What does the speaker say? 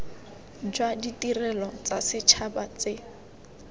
jwa ditirelo tsa setšhaba tse